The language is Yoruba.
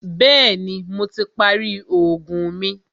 Bẹ̀ẹ́ni, Mo ti parí oògùn mi.